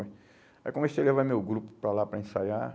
Aí comecei a levar meu grupo para lá para ensaiar.